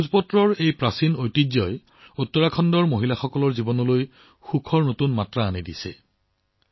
ভোজপাত্ৰৰ এই প্ৰাচীন ঐতিহ্যই উত্তৰাখণ্ডৰ নাৰীসকলৰ জীৱনত সুখৰ নতুন ৰং সংযোজন কৰিছে